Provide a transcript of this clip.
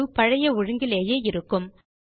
தரவு பழைய ஒழுங்கிலேயே இருக்கும்